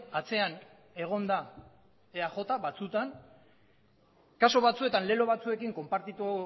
atzean egon da eaj batzutan kasu batzuetan lelo batzuekin konpartitu